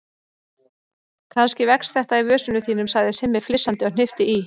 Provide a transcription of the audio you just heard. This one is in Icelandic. Kannski vex þetta í vösunum þínum sagði Simmi flissandi og hnippti í